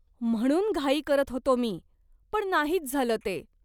म्हणून घाई करत होतो मी, पण नाहीच झालं ते.